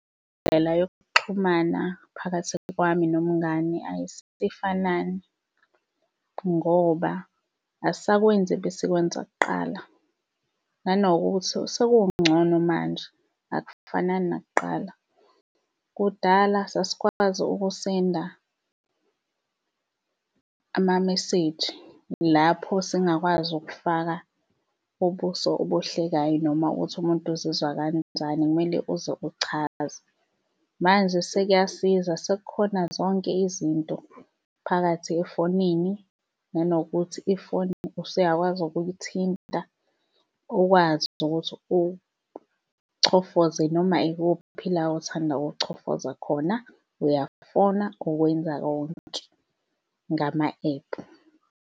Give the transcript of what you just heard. Indlela yokuxhumana phakathi kwami nomngani ayisefanani, ngoba asisakwenzi ebesikwenza kuqala. Nanokuthi sekungcono manje akufanani nakuqala. Kudala sasikwazi ukusenda amameseji, lapho singakwazi ukufaka ubuso obuhlekayo, noma ukuthi umuntu uzizwa kancani, kumele uze uchaze. Manje sekuyakusiza, sekukhona zonke izinto phakathi efonini, nanokuthi ifoni usuyakwazi ukuyithinta ukwazi nokuthi uchofoze noma ikuphi la othanda ukuchofoza khona, uyafona ukwenza konke ngama-ephu.